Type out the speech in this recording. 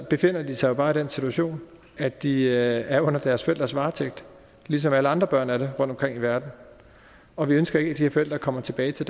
befinder de sig jo bare i den situation at de er under deres forældres varetægt ligesom alle andre børn er det rundtomkring i verden og vi ønsker ikke at de her forældre kommer tilbage til